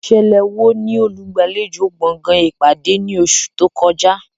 Ìṣẹ̀lẹ̀ wo ni olùgbàlejò gbọ̀ngàn ìpàdé ní oṣù tó kọjá?